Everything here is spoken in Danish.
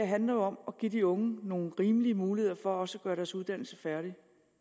handler jo om at give de unge nogle rimelige muligheder for også at gøre deres uddannelse færdig